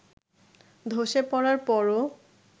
ধসে পড়ার পরও